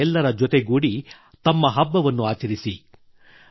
ತಾವು ಎಲ್ಲ ಜತೆಗೂಡಿ ತಮ್ಮ ಹಬ್ಬವನ್ನು ಆಚರಿಸಿ